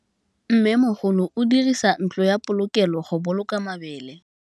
Mmêmogolô o dirisa ntlo ya polokêlô, go boloka mabele.